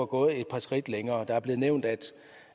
gået et par skridt længere det er blevet nævnt at